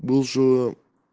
бывшего